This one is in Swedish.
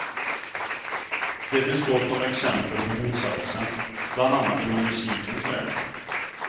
Det finns gott om exempel på motsatsen, bland annat inom musikens värld.